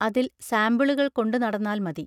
അതിൽ സാമ്പിളുകൾ കൊണ്ടു നടന്നാൽ മതി.